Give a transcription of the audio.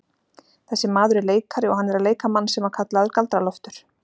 Þessi maður er leikari og hann er að leika mann sem var kallaður Galdra-Loftur.